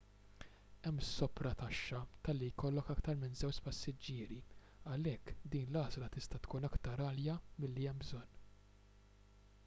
hemm soprataxxa talli jkollok aktar minn 2 passiġġieri għalhekk din l-għażla tista' tkun aktar għalja milli hemm bżonn